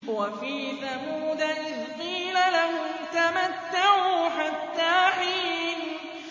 وَفِي ثَمُودَ إِذْ قِيلَ لَهُمْ تَمَتَّعُوا حَتَّىٰ حِينٍ